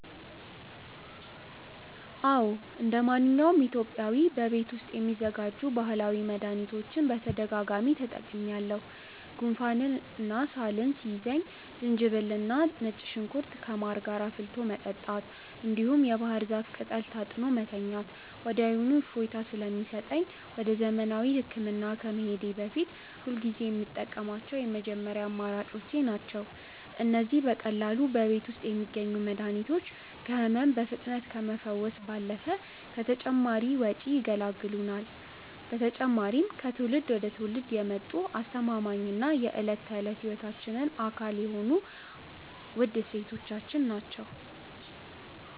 አዎ እንደማንኛውም ኢትዮጵያዊ በቤት ውስጥ የሚዘጋጁ ባህላዊ መድኃኒቶችን በተደጋጋሚ ተጠቅሜአውቃሠሁ። ጉንፋንና ሳል ሲይዘኝ ዝንጅብልና ነጭ ሽንኩርት ከማር ጋር አፍልቶ መጠጣት፣ እንዲሁም የባህር ዛፍ ቅጠል ታጥኖ መተኛት ወዲያውኑ እፎይታ ስለሚሰጠኝ ወደ ዘመናዊ ሕክምና ከመሄዴ በፊት ሁልጊዜ የምጠቀማቸው የመጀመሪያ አማራጮቼ ናቸው። እነዚህ በቀላሉ በቤት ውስጥ የሚገኙ መድኃኒቶች ከሕመም በፍጥነት ከመፈወስ ባለፈ ከተጨማሪ ወጪ ይገላግሉናል። በተጨማሪም ከትውልድ ወደ ትውልድ የመጡ አስተማማኝና የዕለት ተዕለት ሕይወታችን አካል የሆኑ ውድ እሴቶቻችን ናቸው።